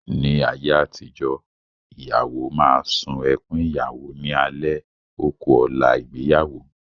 Ní àyé àtijọ́, ìyàwó máa sun ẹkún Ìyàwó ní alẹ́ ó ku ọ̀la ìgbéyàwó.